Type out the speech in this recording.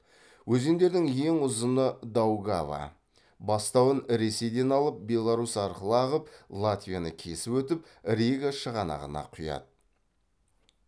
өзендердің ең ұзыны даугава бастауын ресейден алып беларусь арқылы ағып латвияны кесіп өтіп рига шығанағына құяды